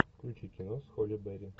включи кино с холли берри